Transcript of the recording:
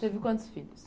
Teve quantos filhos?